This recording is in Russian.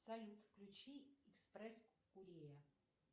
салют включи экспресс курея